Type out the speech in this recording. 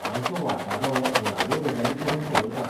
आमचो वाटाडो मुळाव्यो गजाली करून पळयता.